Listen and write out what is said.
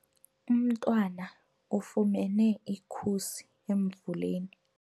Umntwana ufumene ikhusi emvuleni.